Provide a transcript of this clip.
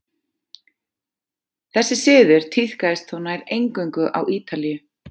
þessi siður tíðkaðist þó nær eingöngu á ítalíu